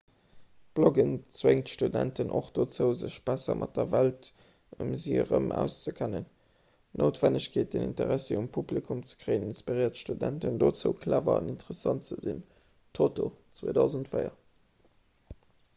d'bloggen zwéngt studenten och dozou sech besser mat der welt ëm si erëm auszekennen. d'noutwennegkeet den interessi vum publikum ze kréien inspiréiert studenten dozou clever an interessant ze sinn toto 2004